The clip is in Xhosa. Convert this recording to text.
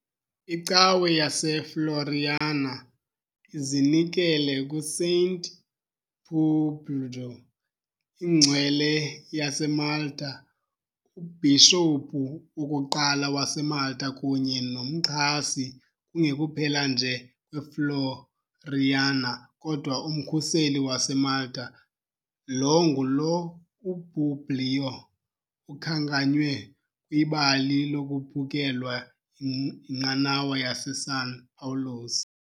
ICawe yaseFloriana izinikele kuSaint Publju, ingcwele yaseMalta, ubhishophu wokuqala waseMalta kunye nomxhasi kungekuphela nje kweFloriana kodwa umkhuseli waseMalta, lo ngulo uPubliyo ukhankanywe kwibali lokuphukelwa yinqanawa yaseSan Pawulos.